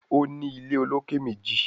O ní ilé olokè méjì